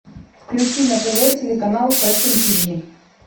включи на тв телеканал фэшн тиви